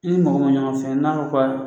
I ni mɔgɔ mun ɲɔgɔn fɛn n'a ko ko a